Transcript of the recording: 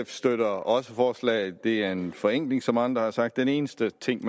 støtter også forslaget det er en forenkling som andre har sagt den eneste ting